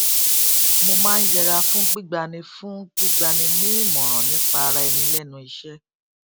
mo máa ń yẹra fún gbígba ni fún gbígba ni ní ìmọràn nípa ara ẹni lẹnu iṣẹ